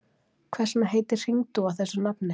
Hvers vegna heitir hringdúfa þessu nafni?